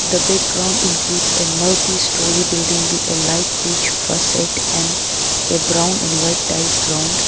The background includes a multi-storey building with the light peach first and a brown and white tile ground.